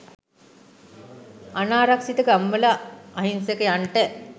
අනාරක්ශිත ගම්වල අහින්සකයන්ට